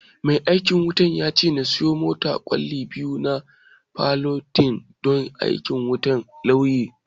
Mai aikin wutan ya ce na siyo masa kwali biyu na salatif ɗin aikin wutan lanyarki